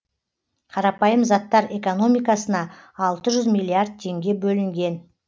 қарапайым заттар экономикасына алты жүз миллиард теңге бөлінген